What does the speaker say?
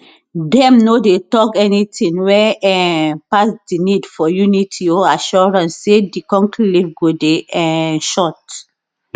dem no dey tok anytin wey um pass di need for unity or assurance say di conclave go dey um short